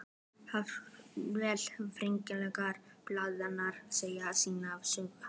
Jafnvel hreyfingar blaðanna segja sína sögu.